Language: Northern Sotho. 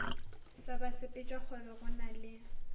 sa basepetšakgwebo go na le